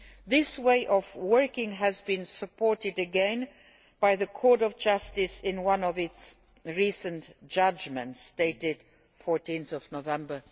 This way of working has been supported again by the Court of Justice in one of its recent judgments, dated 14 November